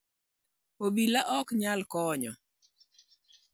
obila ok nyal konyo